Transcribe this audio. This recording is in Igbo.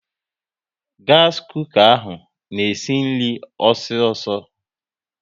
Gas kooka ahụ na-esi nri ọsọ ọsọ